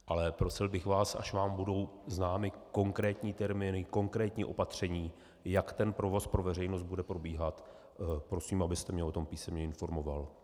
Ale prosil bych vás, až vám budou známy konkrétní termíny, konkrétní opatření, jak ten provoz pro veřejnost bude probíhat, prosím, abyste mě o tom písemně informoval.